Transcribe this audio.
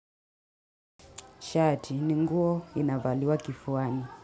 Shati ni nguo inavaliwa kifuani.